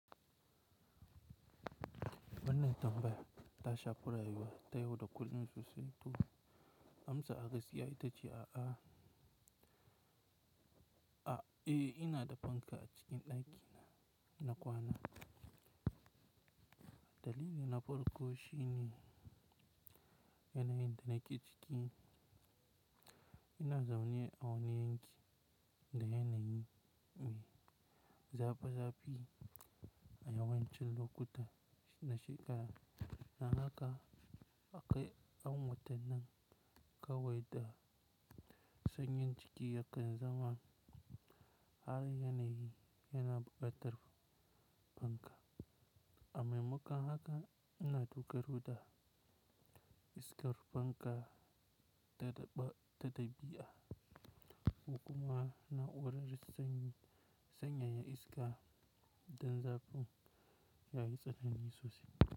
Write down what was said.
Wannan tambaya ta shafi rayuwa ta yau da kullum sosai to. Amsa a gaskiya ita ce a'a. A ina da fanka a cikin daki na na kwana. Dalilin na farko shine yanayin da nake ciki. Ina zaune a wani yanki da yanayi mai zafi zafi a yawancin lokuta na shekara. Nan haka akai an watanin kawai da sanyin ciki yakan zama har yanayi yana bukatar fanka. Amemakan haka ina tuka ruɗa iskar fanka ta daɓi a. Kukuma naurar sanyi sanyaya iska dan zafin yayi tsanani sosai.